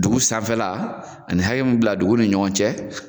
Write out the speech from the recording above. Dugu sanfɛla ani hakɛ mun bila dugu ni ɲɔgɔn cɛ